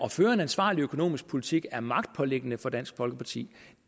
føre en ansvarlig økonomisk politik er magtpåliggende for dansk folkeparti